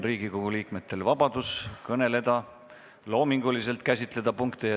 Riigikogu liikmetel on vabadus kõneleda, punkte ja teemasid loominguliselt käsitleda.